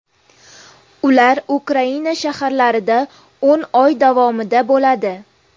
Ular Ukraina shaharlarida o‘n oy davomida bo‘ladi.